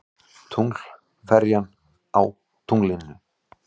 Tunglferjan á tunglinu.